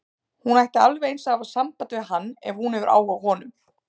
Hún ætti alveg eins að hafa samband við hann ef hún hefur áhuga á honum.